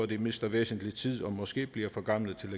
de mister væsentlig tid og måske bliver for gamle til at